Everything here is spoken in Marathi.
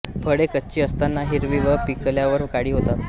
फळे कच्ची असताना हिरवी व पिकल्यावर काळी होतात